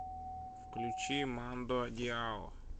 включи мандо диао